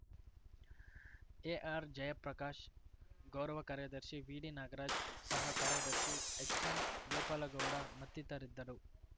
ಎಆರ್‌ಜಯಪ್ರಕಾಶ್‌ ಗೌರವ ಕಾರ್ಯದರ್ಶಿ ವಿಡಿನಾಗರಾಜ್‌ ಸಹ ಕಾರ್ಯದರ್ಶಿ ಎಚ್‌ಎಂಗೋಪಾಲ ಗೌಡ ಮತ್ತಿತರಿದ್ದರು